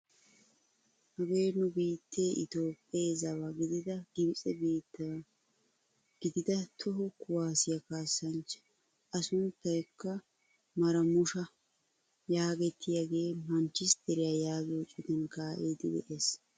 Hagee nu biittee itoophphee zawa gidida gibitse biittawa gidida toho kuwaasiyaa kasaanichchaa! a sunttaykka maramushsha yaagettiyaagee manchisteriyaa yaagiyoo citan kaa'idi de'ees!